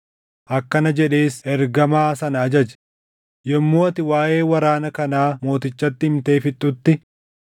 Akkana jedhees ergamaa sana ajaje; “Yommuu ati waaʼee waraana kanaa mootichatti himtee fixxutti,